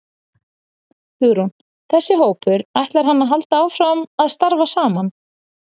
Hugrún: Þessi hópur, ætlar hann að halda áfram að starfa saman?